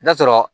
N'a sɔrɔ